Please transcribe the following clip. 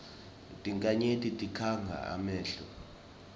tinkhanyeti tikhanga emehlo